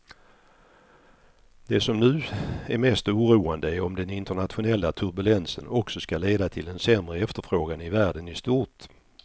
Det som nu är mest oroande är om den internationella turbulensen också ska leda till en sämre efterfrågan i världen i stort.